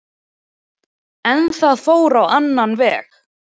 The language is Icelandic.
En það fór á annan veg